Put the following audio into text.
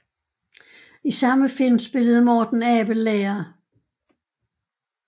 I samme film spillede Morten Abel lærer